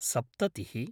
सप्ततिः